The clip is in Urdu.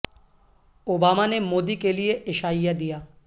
او با ما نے مو دی کیلئے عشا ئیہ دیا